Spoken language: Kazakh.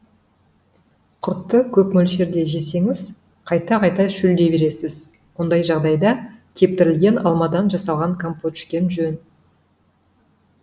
құртты көп мөлшерде жесеңіз қайта қайта шөлдей бересіз ондай жағдайда кептірілген алмадан жасалған компот ішкен жөн